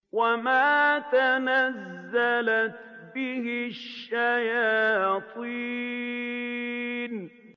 وَمَا تَنَزَّلَتْ بِهِ الشَّيَاطِينُ